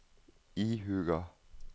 ihuga